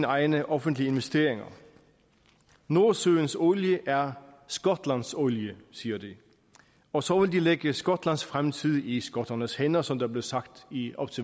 egne offentlige investeringer nordsøens olie er skotlands olie siger de og så vil de lægge skotlands fremtid i skotternes hænder som det blev sagt i